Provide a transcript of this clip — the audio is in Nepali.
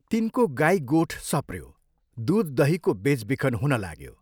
तिनको गाई गोठ सप्रयो, दूध दहीको बेचबिखन हुनलाग्यो।